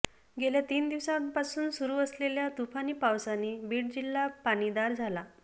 गेल्या तीन दिवसांपासून सुरु असलेल्या तुफानी पावसाने बीड जिल्हा पाणीदार झाला